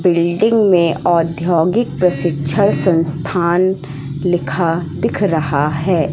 Building में औद्योघीक प्रशिक्षण संस्थान लिखा दिख रहा है।